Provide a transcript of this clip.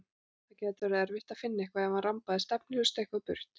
Það gæti orðið erfitt að finna hann ef hann rambaði stefnulaust eitthvað burt.